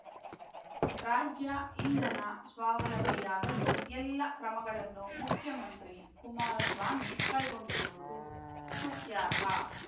ರಾಜ್ಯ ಇಂಧನ ಸ್ವಾವಲಂಬಿಯಾಗಲು ಎಲ್ಲಾ ಕ್ರಮಗಳನ್ನು ಮುಖ್ಯಮಂತ್ರಿ ಕುಮಾರಸ್ವಾಮಿ ಕೈಗೊಂಡಿರುವುದು ಸ್ತುತ್ಯಾರ್ಹ